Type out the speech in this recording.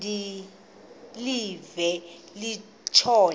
de live kutshona